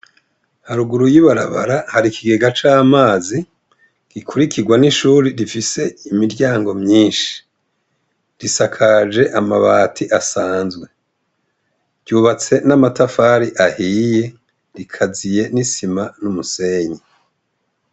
Haruguru y'ibarabara hari ikigega c'amazi gikurikirwa n'ishuri rifise imiryango myinshi. Risakajwe amabati asanzwe. Ryubatswe n'amatafari ahiye, rikaziye n'isima n'umusenyi.